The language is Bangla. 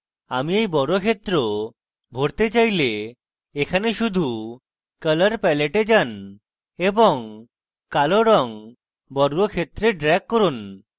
আমি এই বর্গক্ষেত্র ভরতে চাইলে easy সহজ শুধু এখানে colour pallet এ যান এবং কালো রঙ বর্গক্ষেত্রে drag করুন